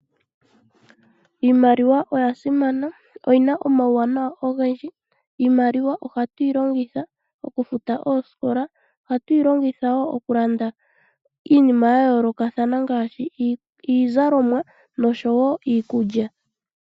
Iimaliwa oyasimana oyina omawuwanawa ogendji. iimaliwa ohatu yi longitha okufuta oskola, ohatu yilongitha wo okulanda iinima yayolokatha ngaashi iizalomwa noshowo iikulya.